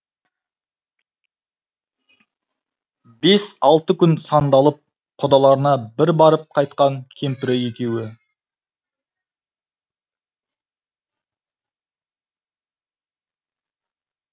бес алты күн сандалып құдаларына бір барып қайтқан кемпірі екеуі